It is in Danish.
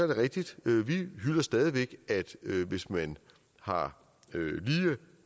det rigtigt vi hylder stadig væk at hvis man har lige